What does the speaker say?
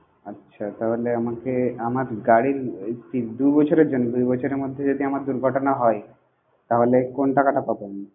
আচ্ছা তাহলে আমাকে আমার গাড়ির তি দু বছরের জন্যে দু বছরের মধ্যে যদি আমার দুর্ঘটনা হয় তাহলে কোন টাকাটা পাবো আমি?